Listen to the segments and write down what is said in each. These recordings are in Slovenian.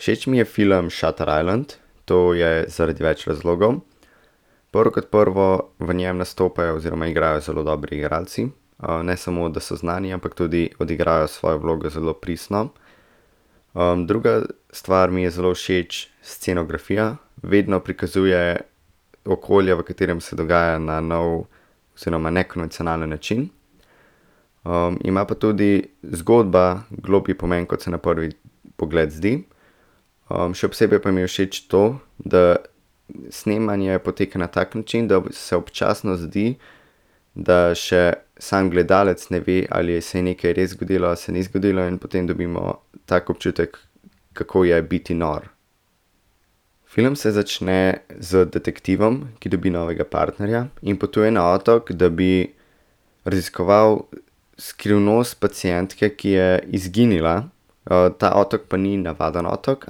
Všeč mi je film Shutter Island, to je zaradi več razlogov. Prvo kot prvo, v njem nastopajo oziroma igrajo zelo dobri igralci. ne samo, da so znani, ampak tudi odigrajo svojo vlogo zelo pristno. druga stvar mi je zelo všeč, scenografija. Vedno prikazuje okolja, v katerem se dogaja na novo oziroma nekonvencionalen način. ima pa tudi zgodba globlji pomen, kot se na prvi pogled zdi. še posebej pa mi je všeč to, da snemanje poteka na tak način, da se občasno zdi, da še samo gledalec ne ve, ali se je nekaj res zgodilo a se ni zgodilo, in potem dobimo tak občutek, kako je biti nor. Film se začne z detektivom, ki dobi novega partnerja, in potuje na otok, da bi raziskoval skrivnost pacientke, ki je izginila. ta otok pa ni navaden otok,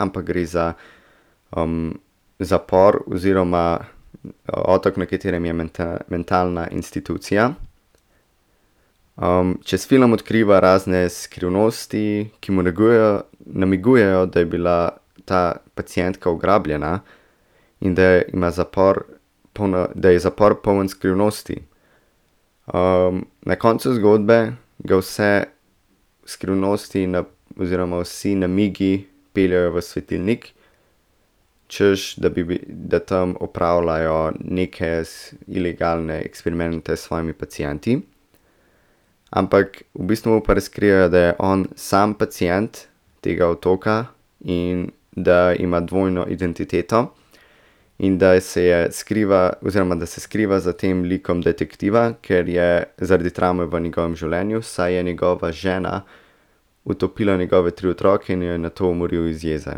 ampak gre za, zapor oziroma otok, na katerem je mentalna institucija. čez film odkriva razne skrivnosti, ki namigujejo, da je bila ta pacientka ugrabljena in da ima zapor da je zapor poln skrivnosti. na koncu zgodbe ga vse skrivnosti oziroma vsi namigi peljejo v svetilnik. Češ da bi da tam opravljajo neke ilegalne eksperimente s svojimi pacienti. Ampak v bistvu pa razkrijejo, da je on sam pacient tega otoka in da ima dvojno identiteto. In da se je oziroma da se skriva za tem likom detektiva, ker je zaradi travme v njegovem življenju, saj je njegova žena utopila njegove tri otroke in jo je nato umoril iz jeze.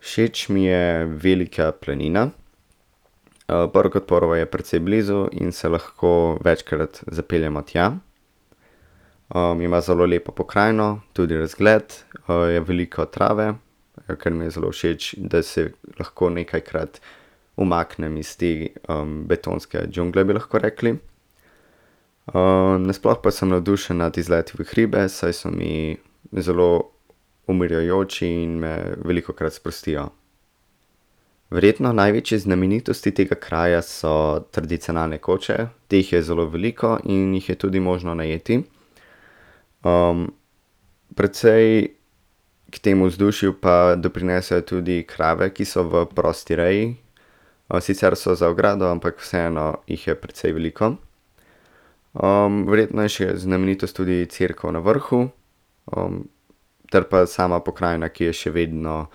Všeč mi je Velika planina. prvo kot prvo je precej blizu in se lahko večkrat zapeljemo tja. ima zelo lepo pokrajino, tudi razgled, je veliko trave, ker mi je zelo všeč, da se lahko nekajkrat umaknem iz te, betonske džungle, bi lahko rekli. na sploh pa sem navdušen nad izleti v hribe, saj so mi zelo pomirjajoči in me velikokrat sprostijo. Verjetno največje znamenitosti tega kraja so tradicionalne koče. Teh je zelo veliko in jih je tudi možno najeti. precej k temu vzdušju pa doprinesejo tudi krave, ki so v prosti reji, sicer so za ogrado, ampak vseeno jih je precej veliko. verjetno je še znamenitost tudi cerkev na vrhu, ter pa sama pokrajina, ki je še vedno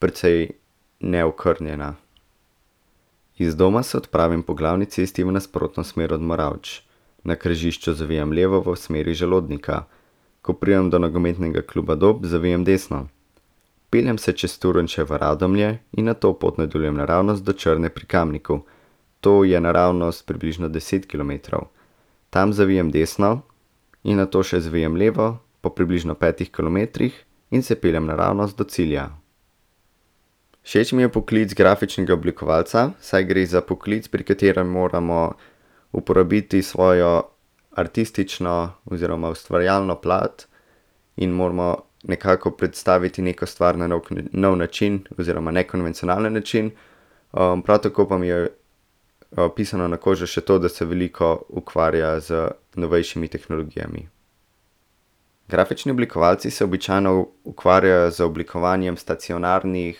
precej neokrnjena. Iz doma se odpravim po glavni cesti v nasprotno smer od Moravč. Na križišču zavijem levo v smeri Želodnika. Ko pridem do Nogometnega kluba Dob, zavijem desno. Peljem se čez Turnše v Radomlje in nato pot nadaljujem naravnost do Črne pri Kamniku. To je naravnost približno deset kilometrov. Tam zavijem desno in nato še zavijem levo po približno petih kilometrih in se peljem naravnost do cilja. Všeč mi je poklic grafičnega oblikovalca, saj gre za poklic, pri katerem moramo uporabiti svojo artistično oziroma ustvarjalno plat. In moramo nekako predstaviti neko stvar na nov način oziroma nekonvencionalen način. prav tako pa mi je pisano na kožo še to, da se veliko ukvarja z novejšimi tehnologijami. Grafični oblikovalci se običajno ukvarjajo z oblikovanjem stacionarnih,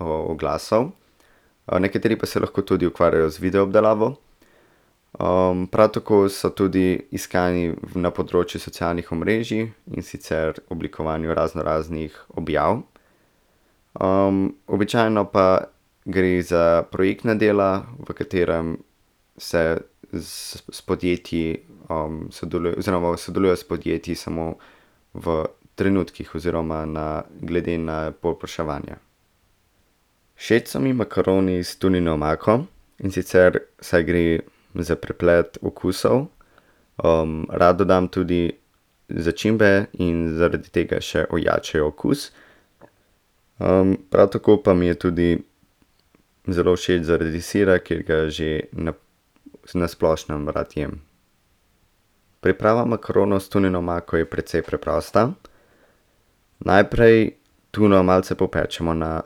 oglasov. nekateri pa se lahko tudi ukvarjajo z video obdelavo. prav tako so tudi iskani v, na področju socialnih omrežij, in sicer oblikovanju raznoraznih objav. običajno pa gre za projektna dela, v katerem se z podjetji, oziroma sodeluje s podjetji samo v trenutkih oziroma na glede na povpraševanja. Všeč so mi makaroni s tunino omako, in sicer, saj gre za preplet okusov. rad dodam tudi začimbe in zaradi tega še ojačajo okus. prav tako pa mi je tudi zelo všeč zaradi sira, ker ga že na splošnem rad jem. Priprava makaronov s tunino omako je precej preprosta. Najprej tuno malce popečemo na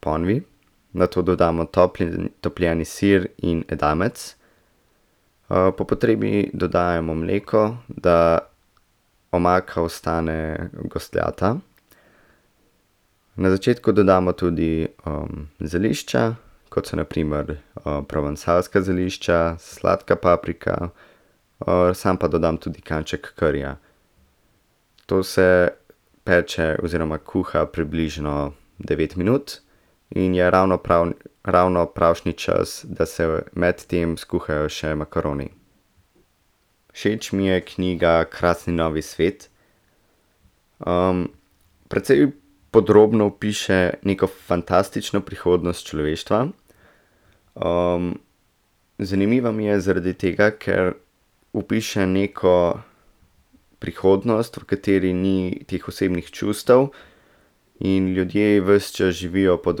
ponvi. Nato dodamo topljeni sir in edamec. po potrebi dodajamo mleko, da omaka ostane gostljata. Na začetku dodamo tudi, zelišča, kot so na primer, provansalska zelišča, sladka paprika, sam pa dodam tudi kanček karija. To vse peče oziroma kuha približno devet minut in je ravno prav, ravno pravšnji čas, da se med tem skuhajo še makaroni. Všeč mi je knjiga Krasni novi svet. precej podrobno opiše neko fantastično prihodnost človeštva. zanimiva mi je zaradi tega, ker opiše neko prihodnost, v kateri ni teh osebnih čustev in ljudje ves čas živijo pod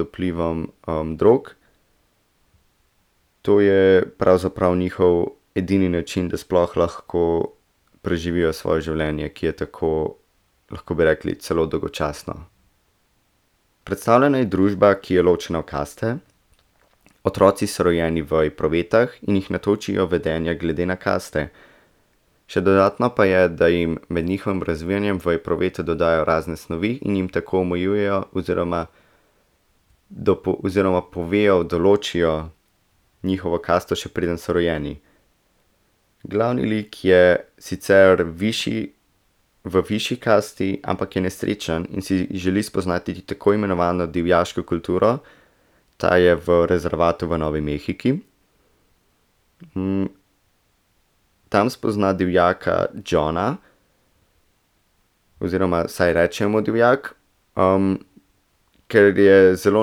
vplivom, drog. To je pravzaprav njihov edini način, da sploh lahko preživijo svoje življenje, ki je tako, lahko bi rekli, celo dolgočasno. Predstavljena je družba, ki je ločena v kaste, otroci so rojeni v epruvetah in jih natočijo vedenja glede na kaste. Še dodatno pa je, da jim med njihovim razvijanjem v epruvete dodajajo razne snovi in jim tako omejujejo oziroma oziroma povejo, določijo njihovo kasto, še preden so rojeni. Glavni lik je sicer višji, v višji kasti, ampak je nesrečen in si želi spoznati tako imenovano divjaško kulturo, ta je v rezervatu v Novi Mehiki. tam spozna divjaka Johna, oziroma vsaj reče mu divjak, Ker je zelo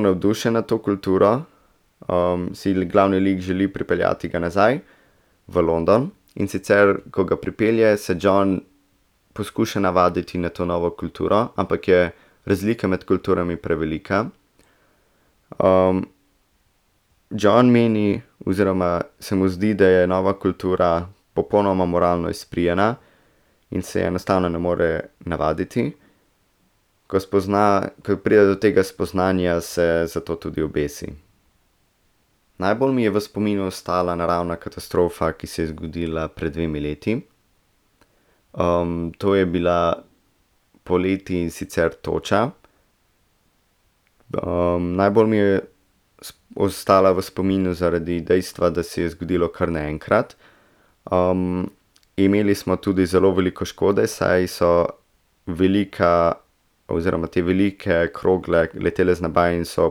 navdušen nad to kulturo, si glavni lik želi pripeljati ga nazaj v London, in sicer ko ga pripelje, se John poskuša navaditi na to novo kulturo, ampak je razlika med kulturami prevelika, John meni oziroma se mu zdi, da je nova kultura popolnoma moralno izprijena in se je enostavno ne more navaditi. Ko spozna, ko pride do tega spoznanja, se zato tudi obesi. Najbolj mi je v spominu ostala naravna katastrofa, ki se je zgodila pred dvema letoma. to je bila poleti, in sicer toča. najbolj mi je ostala v spominu zaradi dejstva, da se je zgodilo kar naenkrat. imeli smo tudi zelo veliko škode, saj so velika oziroma te velike krogle letele z neba in so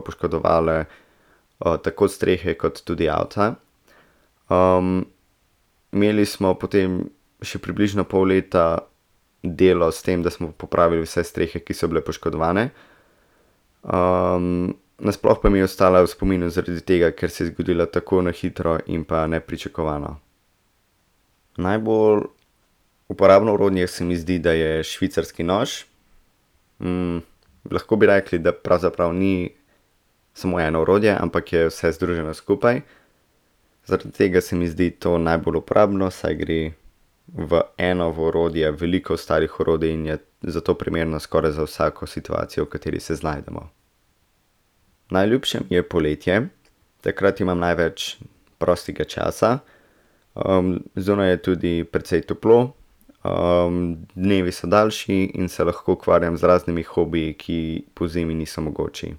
poškodovale, tako strehe kot tudi avta. imeli smo potem še približno pol leta delo s tem, da smo popravili vse strehe, ki so bile poškodovane. na sploh pa mi je ostala v spominu zaradi tega, ker se je zgodila tako na hitro in pa nepričakovano. Najbolj uporabno orodje se mi zdi, da je švicarski nož. lahko bi rekli, da pravzaprav ni samo eno orodje, ampak je vse združeno skupaj. Zaradi tega se mi zdi to najbolj uporabno, saj gre v eno orodje veliko ostalih orodij in je zato primerno skoraj za vsako situacijo, v kateri se znajdemo. Najljubše mi je poletje, takrat imam največ prostega časa. zunaj je tudi precej toplo. dnevi so daljši in se lahko ukvarjam z raznimi hobiji, ki pozimi niso mogoči.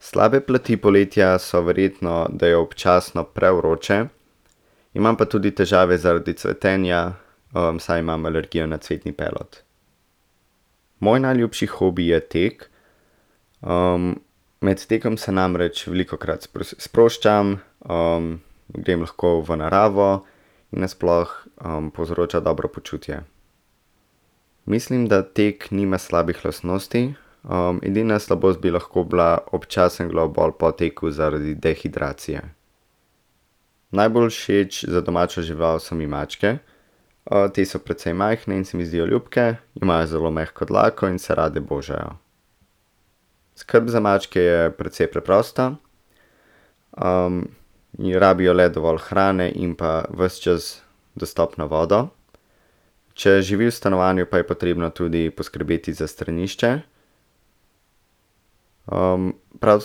Slabe plati poletja so verjetno, da je občasno prevroče. Imam pa tudi težave zaradi cvetenja, saj imam alergijo na cvetni pelod. Moj najljubši hobi je tek. med tekom se namreč velikokrat sproščam, grem lahko v naravo, na sploh, povzroča dobro počutje. Mislim, da tek nima slabih lastnosti. edina slabost bi lahko bila občasen glavobol po teku zaradi dehidracije. Najbolj všeč za domačo žival so mi mačke. te so precej majhne in se mi zdijo ljubke. Imajo zelo mehko dlako in se rade božajo. Skrb za mačke je precej preprosta. rabijo le dovolj hrane in pa ves čas dostopno vodo. Če živi v stanovanju, pa je potrebno tudi poskrbeti za stranišče. prav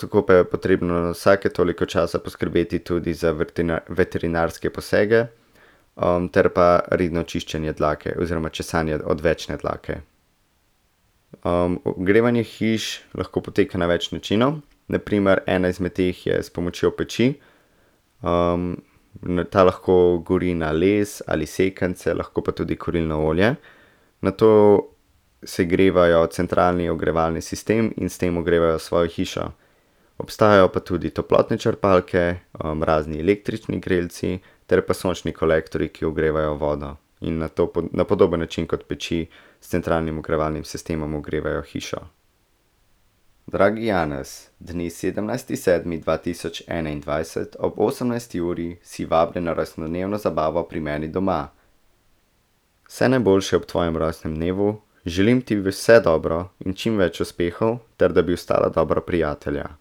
tako pa je potrebno na vsake toliko časa poskrbeti tudi za veterinarske posege, ter pa redno čiščenje dlake oziroma česanje odvečne dlake. ogrevanje hiš lahko poteka na več načinov, na primer ena izmed teh je s pomočjo peči. ta lahko gori na les ali sekance, lahko pa tudi na kurilno olje. Nato segrevajo centralni ogrevalni sistem in s tem ogrevajo svojo hišo. Obstajajo pa tudi toplotne črpalke, razni električni grelci ter pa sončni kolektorji, ki ogrevajo vodo, in nato na podoben način kot peči s centralnim ogrevalnim sistemom ogrevajo hišo. Dragi Janez, dne sedemnajsti sedmi dva tisoč enaindvajset ob osemnajsti uri si vabljen na rojstnodnevno zabavo pri meni doma. Vse najboljše ob tvojem rojstnem dnevu, želim ti vse dobro in čim več uspehov ter da bi ostala dobra prijatelja.